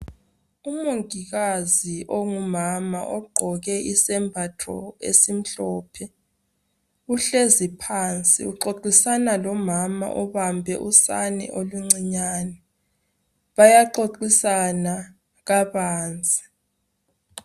Umongikazi ongumama ogqoke isembatho esimhlophe, uhlezi phansi uxoxisana lomama obambe usane oluncinyane bayaxoxisana kabanzi.